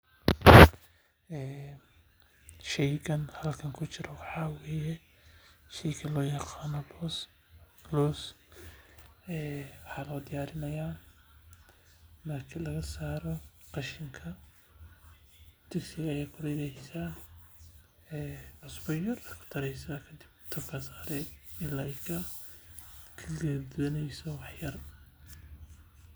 Sheygan halkan kujiro waxaa waye sheyga loo yaqaano loos waxaa loo diyaarinaya marka laga reebo qashinka digsi ayaa saare ilaa aay kakareyso wax yar.